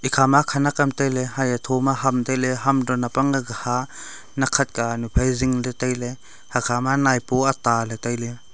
ekhama khanak ham tailey aya thoma ham tailey hamto nab angkha nakkhat kanu phai zingley tailey hakhama taipua ataley tailey.